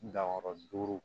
Danyɔrɔ duuru